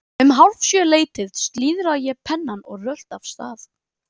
Um hálf sjö leytið slíðra ég pennann og rölti af stað.